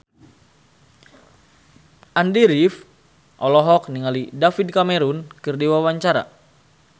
Andy rif olohok ningali David Cameron keur diwawancara